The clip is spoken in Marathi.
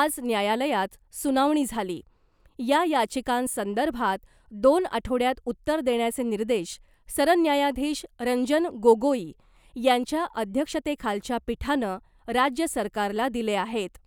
आज न्यायालयात सुनावणी झाली , या याचिकांसंदर्भात दोन आठवड्यात उत्तर देण्याचे निर्देश सरन्यायाधीश रंजन गोगोई यांच्या अध्यक्षतेखालच्या पीठानं , राज्य सरकारला दिले आहेत .